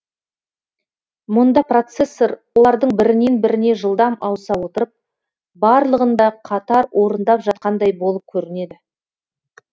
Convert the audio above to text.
мұнда процессор олардың бірінен біріне жылдам ауыса отырып барлығын да қатар орындап жатқандай болып көрінеді